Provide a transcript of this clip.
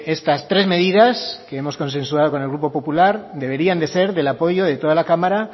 estas tres medidas que hemos consensuado con el grupo popular deberían de ser del apoyo de toda la cámara